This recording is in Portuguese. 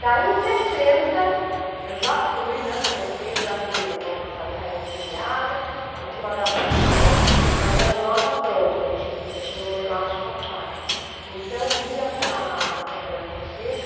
Daí em sessenta, eu já fui, né. comecei a usar uma sainha preguiada, tinha uma gravatinha, mas era o nó já pronto, a gente tinha um elástico atrás, então ia para a Feira Fonseca,